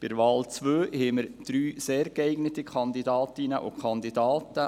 Bei der zweiten Wahl haben wir drei sehr geeignete Kandidatinnen und Kandidaten.